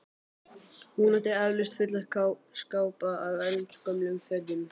Hún átti eflaust fulla skápa af eldgömlum fötum.